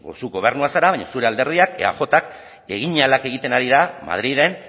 zu gobernua zara baina zure alderdiak eajk egin ahalak egiten ari da madriden